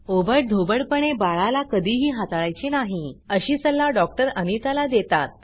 ओबडधोबडपणे बाळाला कधीही हाताळायचे नाही अशी सल्ला डॉक्टर अनिता ला देतात